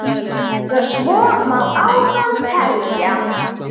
Og svo má áfram telja.